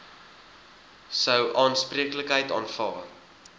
sou aanspreeklikheid aanvaar